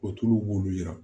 O tulu b'olu yira